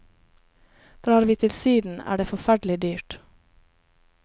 Drar vi til syden, er det forferdelig dyrt.